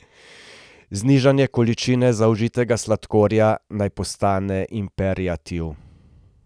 Znižanje količine zaužitega sladkorja naj postane imperativ.